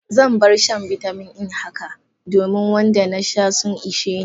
Zan bar shan bitamin E haka, domin wanda na sha sun ishe ni.